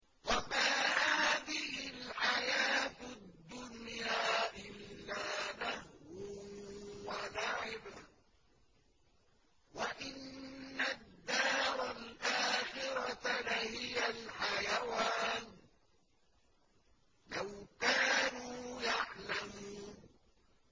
وَمَا هَٰذِهِ الْحَيَاةُ الدُّنْيَا إِلَّا لَهْوٌ وَلَعِبٌ ۚ وَإِنَّ الدَّارَ الْآخِرَةَ لَهِيَ الْحَيَوَانُ ۚ لَوْ كَانُوا يَعْلَمُونَ